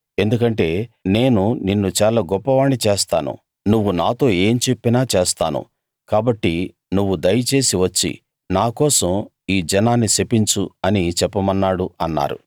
ఎందుకంటే నేను నిన్ను చాలా గొప్పవాణ్ణి చేస్తాను నువ్వు నాతో ఏం చెప్పినా చేస్తాను కాబట్టి నువ్వు దయచేసి వచ్చి నా కోసం ఈ జనాన్ని శపించు అని చెప్పమన్నాడు అన్నారు